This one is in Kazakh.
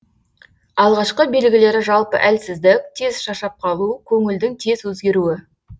алғашқы белгілері жалпы әлсіздік тез шаршап қалу көңілдің тез өзгеруі